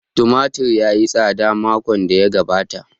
Tumatir ya yi tsada makon da ya gabata